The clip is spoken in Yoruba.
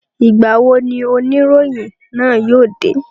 Ìgbà wo ni oníròyìn náà yóò dé?